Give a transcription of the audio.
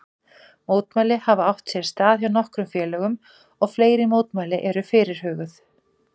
Mótmæli hafa átt sér stað hjá nokkrum félögum og fleiri mótmæli eru fyrirhuguð.